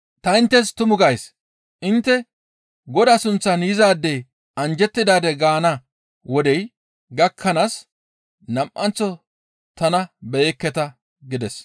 Ta inttes tumu gays; intte Godaa sunththan yizaadey anjjettidaade gaana wodey gakkanaas nam7anththo tana beyekketa» gides.